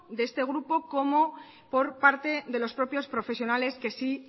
de este grupo como por parte de los propios profesionales que sí